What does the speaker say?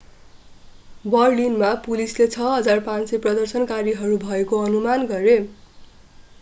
बर्लिनमा पुलिसले 6,500 प्रदर्शनकारीहरू भएको अनुमान गरे